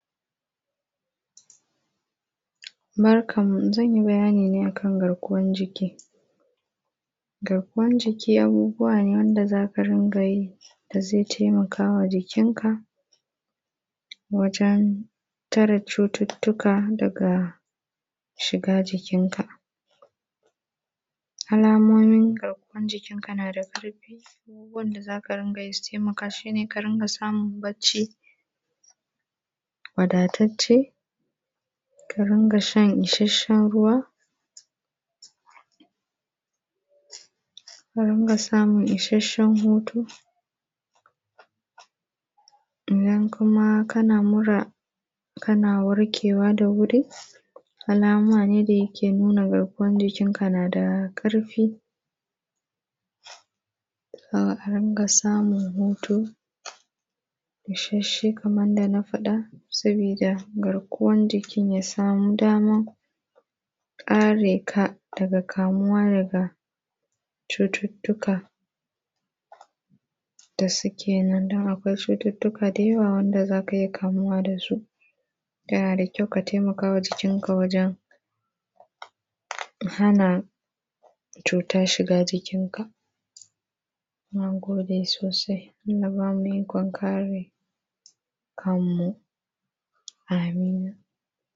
Barkanmu, zan yi bayani ne a kan garkuwan jiki. Garkuwan jiki abuubuwaa nee wanda za ka ringa yii da da zai taimaka wa jikinka Garkuwan jiki abuubuwaa nee wanda za ka ringa yii da zai taimaka wa jikinka wajen tare cututtuka daga shiiga jikinka. Alaamoomin garkuwan jikinka na da ƙarfi. Abubuwanda za ka ringa yi su taimaka, shi ne ka ringa samun bacci wadatacce, wadatacce, ka ringa shan ishasshen ruwa, ka ringa samun ishasshen hutu, idan kuma kana mura, kana warkewa da wuri, alama ne da yake nuna garkuwan jikinka na da ƙarfi. kana warkewa da wuri, alama ne da yake nuna garkuwan jikinka na da ƙarfi Ka ringa samun hutu ishasshe kaman yanda na faɗa, sabida garkuwan jikin ya saami daman kare ka daga kamuwa daga cututtuka da suke nan, don akwai cututtuka da jawa wanda za ka iya kamuwa da su. Yana da kyau ka taimaka wa jikinka wajen hana cuta shiga jikinka. Na gode sosai. Allah ya ba mu ikon kare kanmu. amin. idan kuma kana mura, kana warkewa da wuri, alama ne da yake nuna garkuwan jikinka na da ƙarfi.